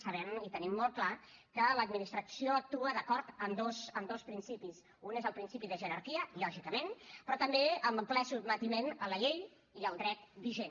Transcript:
sabem i tenim molt clar que l’administració actua d’acord amb dos principis un és el principi de jerarquia lògicament però també amb ple sotmetiment a la llei i al dret vigent